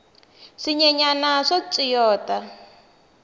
swinyenyani swa tswiyota